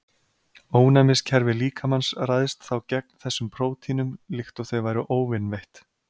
Ónæmiskerfi líkamans ræðst þá gegn þessum prótínum líkt og þau væru óvinveitt.